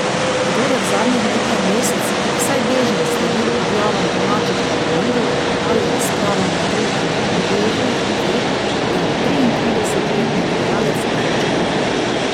Kdor je v zadnjih nekaj mesecih vsaj bežno sledil objavam domačih tabloidov ali razpravam na družbenih omrežjih, ve, da je triintridesetletni igralec vroča roba.